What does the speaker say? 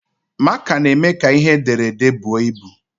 Máká na-eme ka ihe ederede bụọ ịbụ